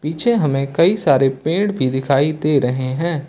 पीछे हमें कई सारे पेड़ भी दिखाई दे रहे हैं।